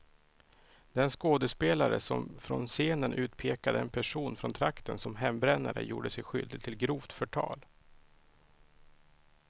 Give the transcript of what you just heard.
Den skådespelare som från scenen utpekade en person från trakten som hembrännare gjorde sig skyldig till grovt förtal.